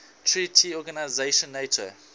treaty organization nato